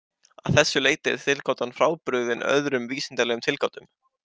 Að þessu leyti er tilgátan frábrugðin öðrum vísindalegum tilgátum.